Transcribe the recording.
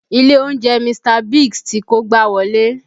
Ilé oúnjẹ Mr. Biggs ti kógbá wọlé